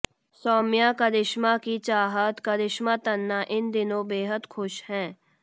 सौम्या करिश्मा की चाहत करिश्मा तन्ना इन दिनों बेहद खुश हैं